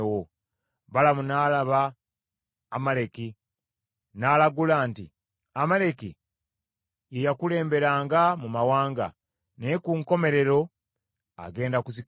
Balamu n’alaba Amaleki, n’alagula nti, “Amaleki ye yakulemberanga mu mawanga, naye ku nkomerero agenda kuzikirira.”